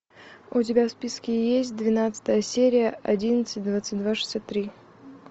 у тебя в списке есть двенадцатая серия одиннадцать двадцать два шестьдесят три